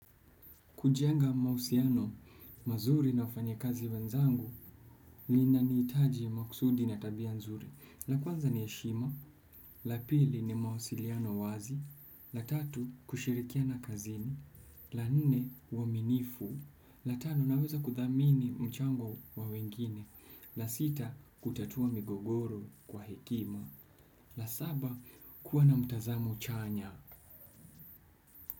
Kujenga mahusiano mazuri na wafanyikazi wenzangu linanihitaji makusudi na tabia nzuri. La kwanza ni heshima, la pili ni mawasiliano wazi, la tatu kushirikiana kazini, la nne uaminifu, la tano naweza kuthamini mchango wa wengine, la sita kutatua migogoro kwa hekima, la saba kuwa na mtazamo chanya.